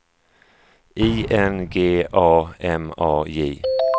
I N G A M A J